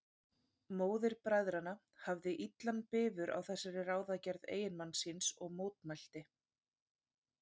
Móðir bræðranna hafði illan bifur á þessari ráðagerð eiginmanns síns og mótmælti.